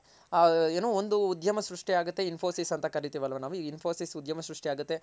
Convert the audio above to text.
ಏನು ಒಂದು ಉದ್ಯಮ ಸೃಷ್ಟಿ ಆಗುತ್ತೆ Infosys ಅಂತ ಕರಿತಿವ್ ಅಲ್ವ ನಾವು ಈ Infosys ಉದ್ಯಮ ಸೃಷ್ಟಿ ಆಗುತ್ತೆ.